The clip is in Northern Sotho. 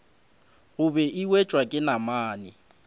gobe e wetšwa ke namane